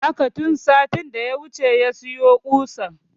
Haka, tun satin da ya wuce ya sayi ƙusan